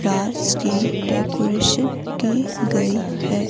Class की decoration की गई है।